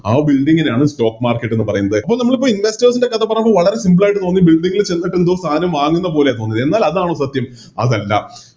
ആ Building നെയാണ് Stock market എന്ന് പറയുന്നത് അപ്പൊ നമ്മളിപ്പോ Investors ൻറെ കഥ പറയുമ്പോൾ വളരെ Simple ആയിട്ട് തോന്നി Building ൽ ചെന്നിട്ടെന്തോ സാധനം വാങ്ങുന്നപോലെയാ തോന്നിയത് എന്നാൽ അതാണോ സത്യം അതല്ല